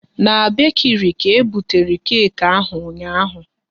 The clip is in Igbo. Na bekiri ka ebutere keki ahụ ụnyaahụ